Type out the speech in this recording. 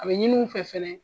A bɛ ɲini u fɛ fana